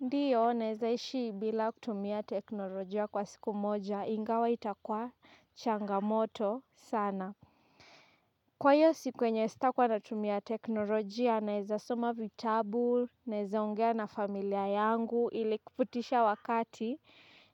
Ndio, naezaishi bila kutumia teknolojia kwa siku moja, ingawa itakwa changamoto sana. Kwa hiyo siku yenye sitakua natumia teknolojia, naeza soma vitabu, naeza ongea na familia yangu, ili kipitisha wakati,